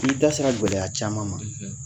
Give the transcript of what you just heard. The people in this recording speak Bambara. I da sera gɛlɛya caman ma